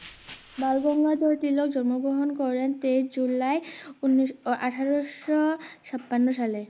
বালগঙ্গাধর তিলক জন্ম গ্রহন করেন তেইশ জুলাই উনিশশো আঠারোশো ছাপান্ন সালে